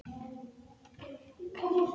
Ertu búinn að dælda húddið?